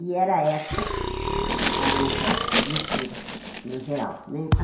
E era essa a nossa mistura, no geral né.